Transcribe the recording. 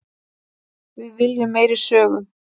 Við viljum meiri sögu.